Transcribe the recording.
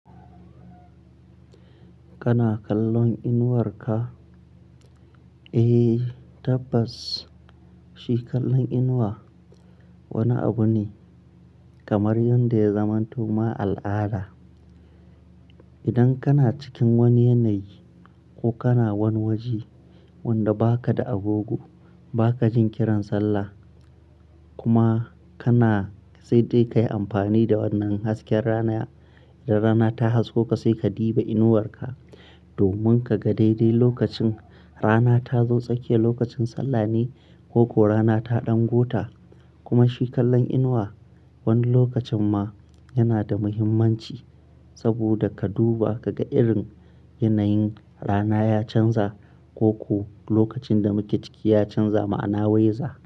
Kana kallon inuwarka? Eh tabbas, shi kallon inuwa wani abu ne kamar yanda ya zamanto ma al'ada. Idan kana cikin wani yanayi ko kana wani waje wanda ba ka da agogo, ba ka jin kiran sallah kuma kana sai dai ka yi amfani da wannan hasken rana. Idan rana ta haskoka sai ka duba inuwarka domin ka ga daidai lokacin rana ta zo tsake lokacin sallah ne ko ko rana ta ɗan gota. Kuma shikallon inuwa wani lokacin ma yana da muhimmanci saboda ka duba ka ga irin yanayin rana ya canza ko ko lokacin da muke ciki ya canza ma'ana waiza.